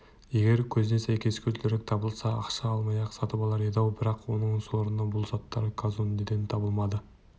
егер көзіне сәйкес көзілдірік табылса ақша аямай-ақ сатып алар еді-ау бірақ оның сорына бұл заттар казондеден табылмайды